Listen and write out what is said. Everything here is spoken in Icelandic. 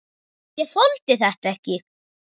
Ég þoldi þetta ekki.